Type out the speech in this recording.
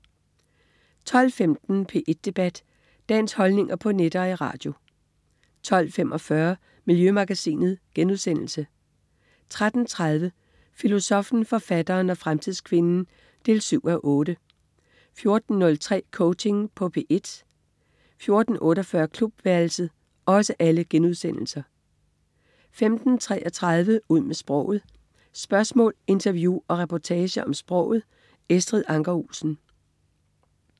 12.15 P1 Debat. Dagens holdninger på net og i radio 12.45 Miljømagasinet* 13.30 Filosoffen, forfatteren og fremtidskvinden 7:8* 14.03 Coaching på P1* 14.48 Klubværelset* 15.33 Ud med sproget. Spørgsmål, interview og reportager om sproget. Estrid Anker Olsen